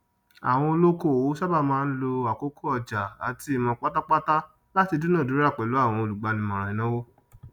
àwọn olókòwò sàbà máa ń lo àkókò ọjà àti ìmọ pátápátá láti dúnàádúrà pelú àwọn olúgbánímóràn ìnàwó